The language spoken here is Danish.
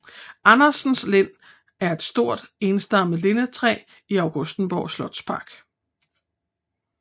Andersens Lind er et stort enstammet lindetræ i Augustenborg Slotspark